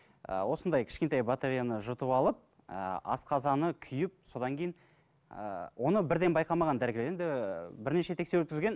ыыы осындай кішкентай батареяны жұтып алып ыыы асқазаны күйіп содан кейін ыыы оны бірден байқамаған дәрігер енді бірнеше тексеру өткізген